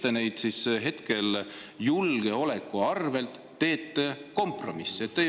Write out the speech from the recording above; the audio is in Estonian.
Ja miks te hetkel julgeoleku arvel teete kompromisse?